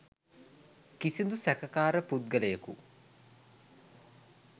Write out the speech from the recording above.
කිසිදු සැකකාර පුද්ගලයකු